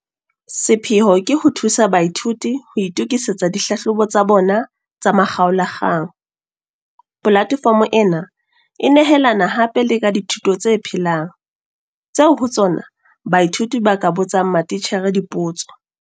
Sepheo ke ho thusa baithuti ho itokisetsa dihlahlobo tsa bona tsa makgaola kgang. Polatefomo ena e nehelana hape le ka dithuto tse phelang, tseo ho tsona baithuti ba ka botsang matitjhere dipotso.